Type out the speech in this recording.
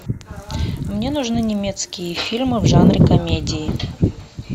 мне нужны немецкие фильмы в жанре комедии